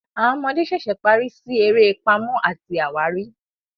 Àwọn ọmọdé ṣẹṣẹ parí sí eré Pàmò àti àwárí.